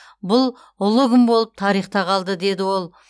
бұл ұлы күн болып тарихта қалды деді ол